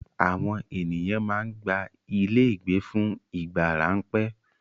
Àwọn ènìyàn máa ń gba ilé ìgbé fún ìgbà ráńpẹ́.